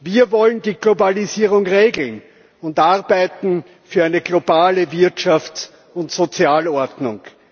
Wir wollen die Globalisierung regeln und arbeiten für eine globale Wirtschafts und Sozialordnung.